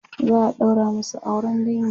za'a ɗaura masu auran dangi